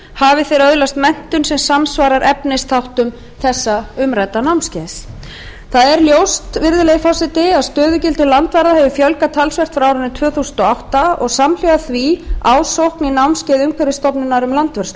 hafi þeir öðlast menntun sem samsvarar efnisþáttum þessa umrædda námskeiðs það er ljóst virðulegi forseti að stöðugildum landvarða hefur fjölgað talsvert frá árinu tvö þúsund og átta og ásamt því ásókn í námskeið umhverfisstofnunar um landvörslu stofnunin